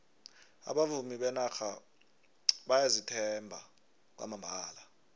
abavumi benarha bayazithemba kwamambala